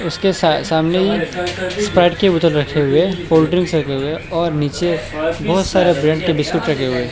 इसके सामने ही स्प्राइट के बोतल रखे हुए कोल्ड्रिंक्स रखे हुए और नीचे बहुत सारे के बिस्कुट रखे हुए।